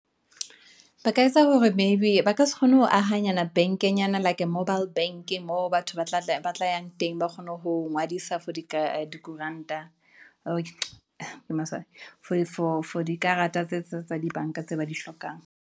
Ba ka etsa hore maybe ba ka se kgone ho ahanyana bank-enyana, like a mobile bank-e, moo batho ba tlayang teng, ba kgone ho ngwadisa for dikuranta, ke maswabi, for dikarata tse tsa di bank-a, tse ba di hlokang.